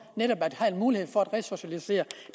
netop at have en mulighed for at resocialisere